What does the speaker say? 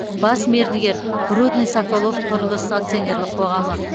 бас мердігер рудныйсоколовқұрылыс акционерлік қоғамы